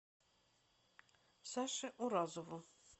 саше уразову